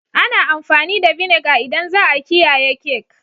Ana amfani da vinegar idan za'a kiyaye cake.